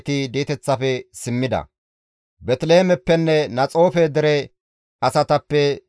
Qiriyaate-Yi7aarime, Kaafirenne Bi7eroote dere asatappe 743;